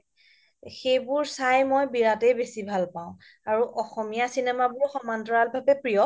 সেইবোৰ চাই মই বিৰাতে বেচি ভাল পাও আৰু অসমীয়া চিনেমা বুলি সমান তৰাল ভাবে প্ৰিয়